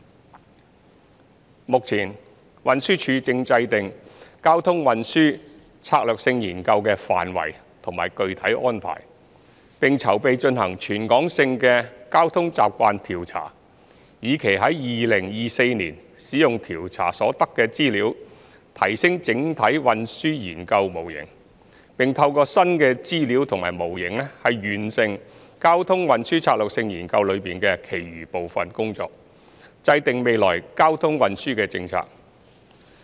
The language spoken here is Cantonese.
三目前，運輸署正制訂《交通運輸策略性研究》的範圍及具體安排，並籌備進行全港性的交通習慣調查，以期在2024年使用調查所得的資料提升整體運輸研究模型，並透過新的資料及模型完成《交通運輸策略性研究》中的其餘部分工作，制訂未來交通運輸政策。